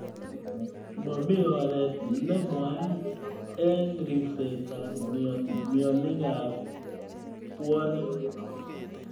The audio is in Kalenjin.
Mamii oret nne mwaat ing ripsset ap mionik ap puonik.